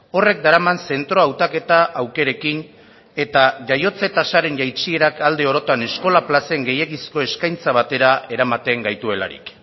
horrek daraman zentro hautaketa aukerekin eta jaiotze tasaren jaitsierak alde orotan eskola plazen gehiegizko eskaintza batera eramaten gaituelarik